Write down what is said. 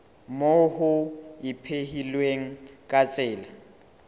moo ho ipehilweng ka tsela